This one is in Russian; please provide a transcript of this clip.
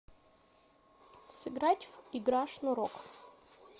сыграть в игра шнурок